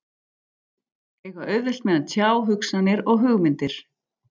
Eiga auðvelt með að tjá hugsanir og hugmyndir.